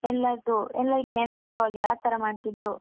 ಎಲ್ಲಾದ್ರು ಎಲ್ಲರಿಗೆ ನೆನಪಿರೋ ಹಾಗೆ ಅತರ ಮಾಡ್ತಿದ್ರು.